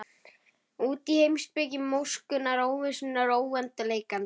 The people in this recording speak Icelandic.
Út í heimspeki móskunnar, óvissunnar, óendanleikans.